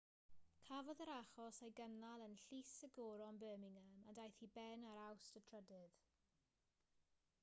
cafodd yr achos ei gynnal yn llys y goron birmingham a daeth i ben ar awst 3